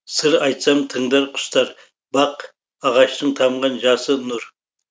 сыр айтсам тыңдар құстар бақ ағаштың тамған жасы нұр